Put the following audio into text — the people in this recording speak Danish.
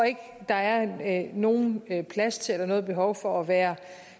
der er nogen plads til eller noget behov for at være